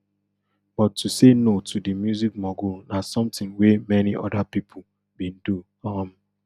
but to say no to di music mogul na something wey many oda pipo bin do um